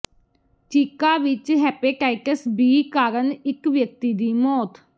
ਚੀਕਾ ਵਿੱਚ hepatitis B ਕਾਰਣ ਇੱਕ ਵਿਅਕਤੀ ਦੀ ਮੌਤ